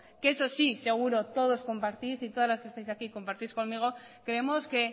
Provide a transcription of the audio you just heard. que eso sí seguro todos compartís y todas las que estáis aquí compartís conmigo creemos que